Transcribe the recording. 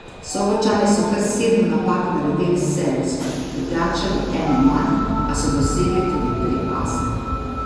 Sobočani so kar sedem napak naredili s servisom, Ljubljančani eno manj, a so dosegli tudi tri ase.